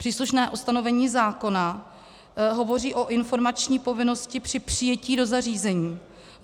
Příslušné ustanovení zákona hovoří o informační povinnosti při přijetí do zařízení.